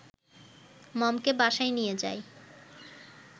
মমকে বাসায় নিয়ে যায়